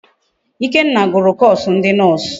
Ikenna gụrụ koosu ndi noosụ.